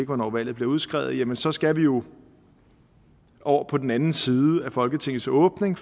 hvornår valget bliver udskrevet jamen så skal vi jo over på den anden side af folketingets åbning